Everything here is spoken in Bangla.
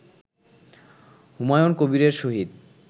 হুমায়ুন কবিরের সহিত